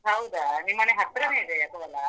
ಹೌದಾ, ನಿಮ್ಮನೆ ಹತ್ರನೇ ಇದ್ಯಾ ಕೋಲಾ.